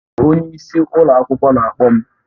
Onye isi ụlọ akwụkwọ na-akpọ m